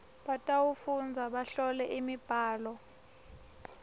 batawufundza bahlole imibhalo